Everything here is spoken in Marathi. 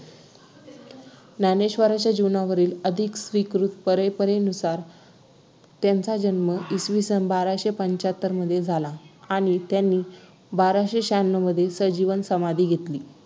ज्ञानेश्वरांच्या जीवनावरील अधिक स्वीकृत परंपरेनुसार त्यांचा जन्म इसविसन बाराशे पंच्याहत्तर मध्ये झाला आणि त्यांनी बाराशे ष्यान्नव मध्ये संजीवन समाधी घेतली